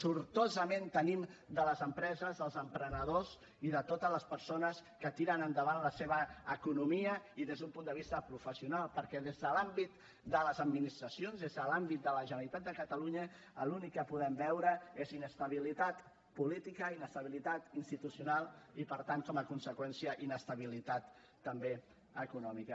sortosament tenim les empreses els emprenedors i totes les persones que tiren endavant la seva economia i des d’un punt de vista professional perquè des de l’àmbit de les administracions des de l’àmbit de la generalitat de catalunya l’únic que podem veure és inestabilitat política inestabilitat institucional i per tant com a conseqüència inestabilitat també econòmica